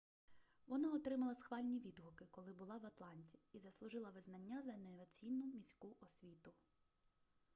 вона отримала схвальні відгуки коли була в атланті і заслужила визнання за інноваційну міську освіту